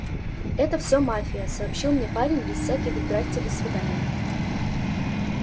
это всё мафия сообщил мне парень без всяких здравствуйте до свидания